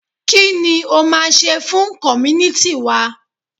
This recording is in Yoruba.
kini o ma se fun community wa?